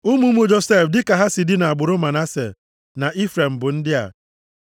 Ụmụ ụmụ Josef dịka ha si dị nʼagbụrụ Manase na Ifrem bụ ndị a: